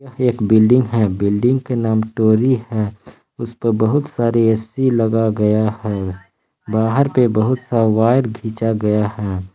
एक बिल्डिंग है बिल्डिंग के नाम टोरी है। उसपर बहुत सारी ए_सी लगा गया है। बाहर पे बहुत सा वायर घिचा गया है।